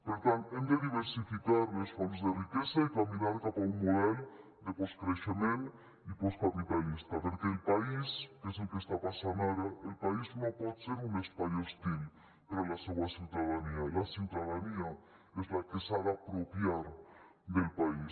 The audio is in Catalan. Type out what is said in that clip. per tant hem de diversificar les fonts de riquesa i caminar cap a un model de postcreixement i postcapitalista perquè el país que és el que està passant ara el país no pot ser un espai hostil per a la seua ciutadania la ciutadania és la que s’ha de apropiar del país